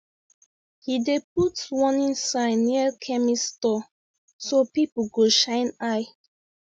he dey put warning sign near chemist store so people go shine eye